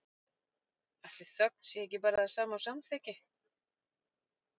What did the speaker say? Ætli þögn sé ekki bara það sama og samþykki?